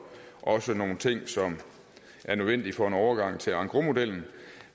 også nogle ting som er nødvendige for en overgang til engrosmodellen